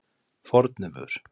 Fornuvör